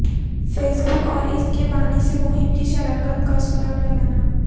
face بک اور اس کے بانی سے مہم کی شراکت کا سراغ لگانا